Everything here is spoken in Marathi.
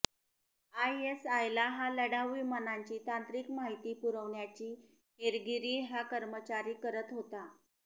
आयएसआयला हा लढाऊ विमानांची तांत्रिक माहिती पुरवण्याची हेरगिरी हा कर्मचारी करत होता